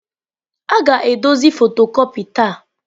A ga-edozi fotocopia taa.